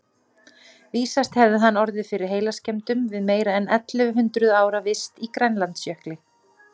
Vísast hefði hann orðið fyrir heilaskemmdum við meira en ellefu hundruð ára vist í Grænlandsjökli.